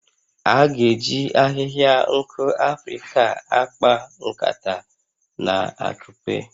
A ga-eji ahihia nku Afrịka a akpa nkata na akupe